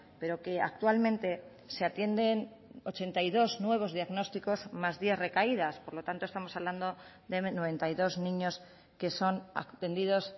pero que actualmente se atienden ochenta y dos nuevos diagnósticos más diez recaídas por lo tanto estamos hablando de noventa y dos niños que son atendidos